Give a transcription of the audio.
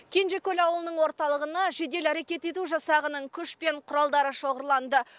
кенжекөл ауылының орталығына жедел әрекет ету жасағының күш пен құралдары шоғырланды